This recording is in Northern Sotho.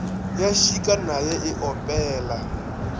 ya šika naye e opela